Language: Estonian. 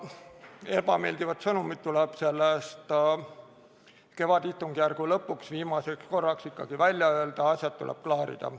Ebameeldivad sõnumid tuleb selle kevadistungjärgu lõpuks, viimaseks korraks ikkagi välja öelda, asjad tuleb ära klaarida.